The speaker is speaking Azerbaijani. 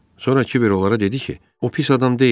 Sonra Kiber onlara dedi ki, o pis adam deyil.